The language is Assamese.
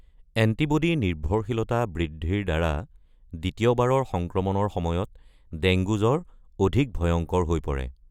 এন্টিব’ডি নিৰ্ভৰশীলতা বৃদ্ধিৰ দ্বাৰা দ্বিতীয়বাৰৰ সংক্ৰমণৰ সময়ত ডেংগু জ্বৰ অধিক ভয়ংকৰ হৈ পৰে।